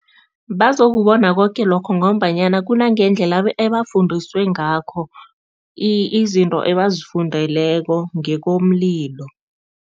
Bazokubona koke lokho ngombanyana kunangendlela ebafundiswe ngakho izinto ebazifundeleko ngekomlilo.